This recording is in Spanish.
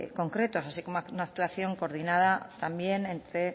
concretos así como una actuación coordinada también entre